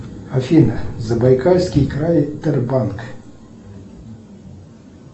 афина забайкальский край тербанк